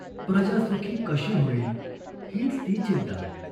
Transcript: प्रजा सुखी कशी होईल, हीच ती चिंता.